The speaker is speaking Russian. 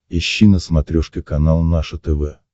ищи на смотрешке канал наше тв